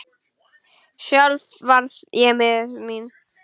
Sjálf var ég miður mín.